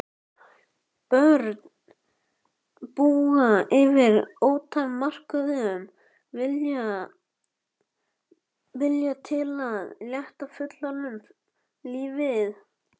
Börn búa yfir ótakmörkuðum vilja til að létta fullorðnum lífið.